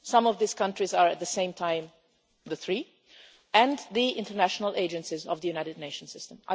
Some of these countries are at the same time the three and the international agencies of the United Nations system.